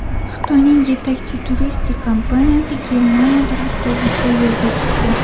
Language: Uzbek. Xitoyning yetakchi turistik kompaniyasi Germaniyadan avtobusda yo‘lga chiqdi.